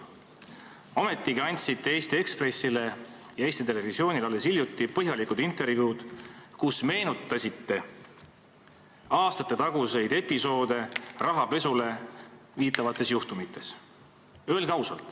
Ometigi andsite Eesti Ekspressile ja Eesti Televisioonile alles hiljuti põhjalikud intervjuud, kus meenutasite aastatetaguseid episoode rahapesule viitavates juhtumites.